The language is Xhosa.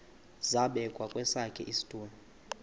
zabekwa kwesakhe isitulo